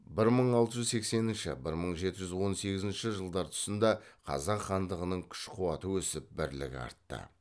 тұсында қазақ хандығының күш қуаты өсіп бірлігі артты